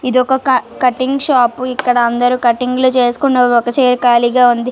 ఇదొక cutting shop ఇక్కడ అందరు కట్టింగ్లు చేసికొని ఒక చైర్ కాలిగా వుంది --.